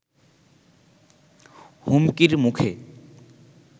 হুমকির মুখে